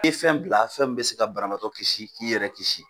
E fɛn bila fɛn min bɛ se ka banabaatɔ kisi k'i yɛrɛ kisi.